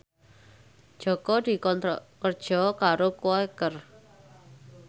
Jaka dikontrak kerja karo Quaker